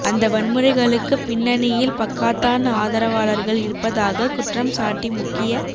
அந்த வன்முறைகளுக்குப் பின்னணியில் பக்காத்தான் ஆதரவாளர்கள் இருப்பதாக குற்றம் சாட்டி முக்கிய